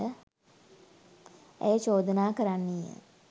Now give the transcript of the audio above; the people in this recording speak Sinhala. ඇය චෝදනා කරන්නීය